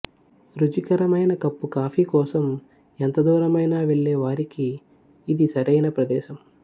రుచికరమైన cup coffee కోసం ఎంత దూరమైనా వెళ్లే వారికి ఇది సరైన ప్రదేశం